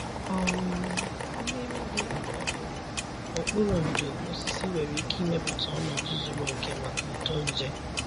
um Mmiri dị um n'okpuru ndo osisi nwere ike ịmepụta ọnọdụ zuru oke maka uto nje.